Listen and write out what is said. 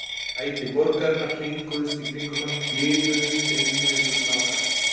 Stræti borgarinnar hringuðust í kringum hann, liðuðust um eins og snákar.